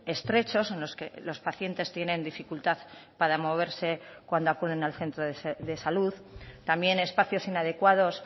estrechos en los que los pacientes tienen dificultad para moverse cuando acuden al centro de salud también espacios inadecuados